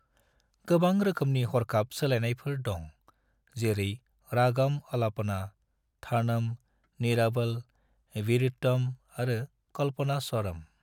गोबां रोखोमनि हरखाब सोलायनायफोर दं, जेरै रागम अलापना, थानम, निरावल, विरुत्तम आरो कल्पनास्वरम।